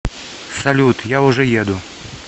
салют я уже еду